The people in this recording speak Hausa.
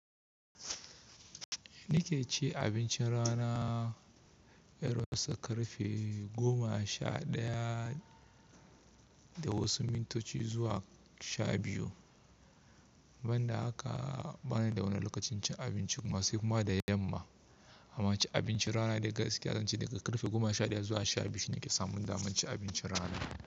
Ni ke ce abincin rana irinsu karfe goma sha ɗaya da wasu mintoci zuwa sha biyu. Ban da haka bana da wani lokacin cin abinci kuma sai kuma da yamma. Amma cin abinci rana dai gaskiya zan ce daga karfe goma sha ɗaya zuwa sha biyu shine ke samun daman cin abinci rana.